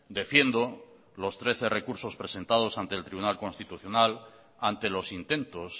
defiendo los trece recursos presentados ante el tribunal constitucional ante los intentos